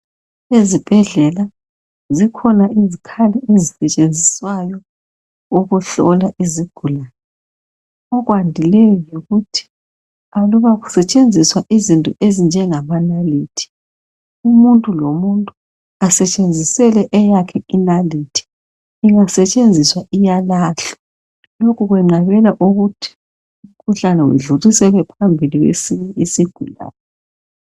Ezibhedlela, zikhona izikhali ezisetshenziswayo ukuhola izigulane. Okwandileyo yikuthi aluba kusetshenzisa izinto ezinje ngamanalithi, omuntu lomuntu asetshele eyakhe. ingasetshenziswa iyalahlwa. Lokho kuqabela ukuthi umkuhlane udluliselwe phambili isigulane.